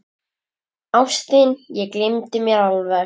Ástin, ég gleymdi mér alveg!